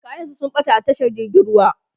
kayan sa sun ɓata a tashar jirgin ruwa